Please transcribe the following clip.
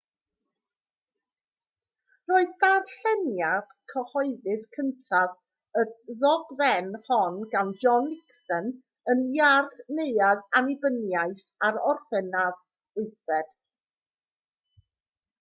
roedd darlleniad cyhoeddus cyntaf y ddogfen hon gan john nixon yn iard neuadd annibyniaeth ar orffennaf 8